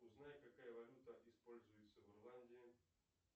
узнай какая валюта используется в ирландии